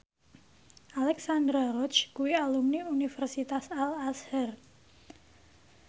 Alexandra Roach kuwi alumni Universitas Al Azhar